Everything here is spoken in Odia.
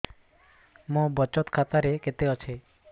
ମୋ ବଚତ ଖାତା ରେ କେତେ ଅଛି